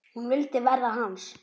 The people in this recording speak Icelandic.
Hún vildi verða hans.